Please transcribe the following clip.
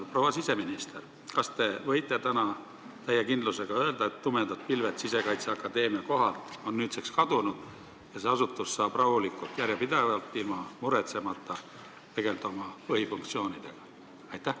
Proua siseminister, kas te võite täna täie kindlusega öelda, et tumedad pilved Sisekaitseakadeemia kohalt on nüüdseks kadunud ja see asutus saab rahulikult, järjepidevalt, ilma muretsemata tegelda oma põhifunktsioonidega?